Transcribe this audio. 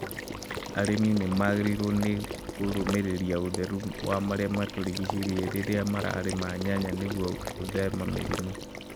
Arĩmi nĩ magĩrĩirũo nĩ kũrũmbũiya ũtheru wa marĩa matũrigicĩirie rĩrĩa mararĩmĩra nyanya nĩguo gwĩtheme mĩrimũ.